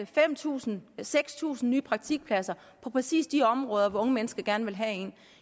fem tusind eller seks tusind nye praktikpladser på præcis de områder hvor unge mennesker gerne vil have én